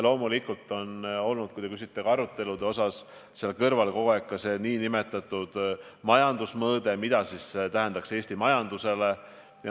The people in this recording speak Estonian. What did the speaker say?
Kui te küsite arutelude kohta, siis loomulikult kogu aeg on päevakorral ka nn majandusmõõde ehk mida see tähendaks Eesti majandusele.